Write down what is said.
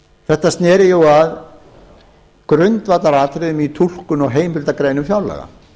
þetta sneri jú í grundvallaratriðum að túlkun á heimildargreinum fjárlaga